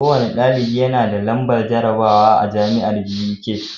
Kowanne ɗalibi yanada nambar jarabawa a jamiar Buk